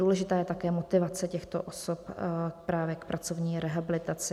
Důležitá je také motivace těchto osob právě k pracovní rehabilitaci.